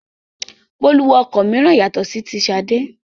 Bólú wọ ọkọ̀ mìíràn yàtọ̀ sí ti Ṣadé.